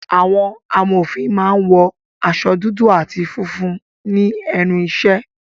Àwọn amòfin máa ń wọ aṣọ dúdú àti funfun ní ẹnu ìṣẹ́